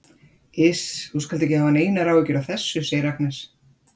Iss, þú skalt ekki hafa neinar áhyggjur af þessu, segir Agnes.